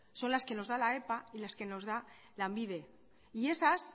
son las que nos da la epa y las que nos da lanbide y esas